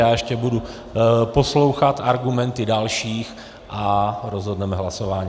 Já ještě budu poslouchat argumenty dalších a rozhodneme hlasováním.